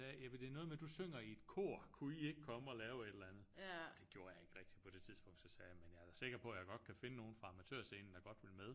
Jamen det er noget med at du synger i et kor kunne I ikke komme og lave et eller andet? Det gjorde jeg ikke rigtig på det tidspunkt så sagde jeg men jeg er da sikker på jeg godt kan finde nogen fra Amatørscenen der godt vil med